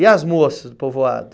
E as moças do povoado?